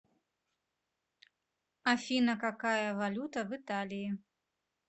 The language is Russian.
афина какая валюта в италии